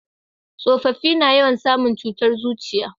tsofaffi na yawan samu cutar zuciya